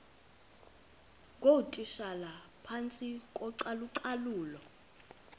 ngootitshala phantsi kocalucalulo